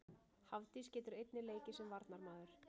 Hafdís getur einnig leikið sem varnarmaður.